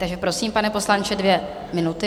Takže prosím, pane poslanče, dvě minuty.